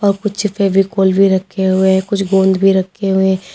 और कुछ फेविकोल भी रखे हुए हैं। कुछ गोंद भी रखे हुए हैं।